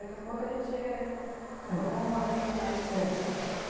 Daqui a pouco a gente chega nesses sons e tudo mais disso aí.